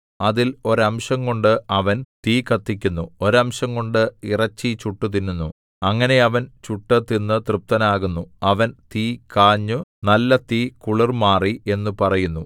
അതിൽ ഒരംശംകൊണ്ട് അവൻ തീ കത്തിക്കുന്നു ഒരംശംകൊണ്ട് ഇറച്ചി ചുട്ടുതിന്നുന്നു അങ്ങനെ അവൻ ചുട്ടു തിന്നു തൃപ്തനാകുന്നു അവൻ തീ കാഞ്ഞു നല്ല തീ കുളിർ മാറി എന്നു പറയുന്നു